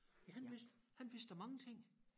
Ja han vidste han vidste da mange ting